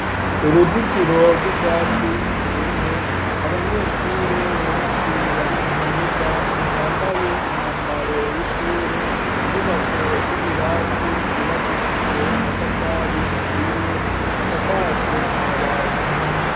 Uruzitiro rw'ivyatsi vyumwe, abanyeshure benshi bari mu kibuga bambaye umwambaro w'ishure, inyubako z'ibirasi zubakishijwe amatafari ahiye zisakajwe amabati.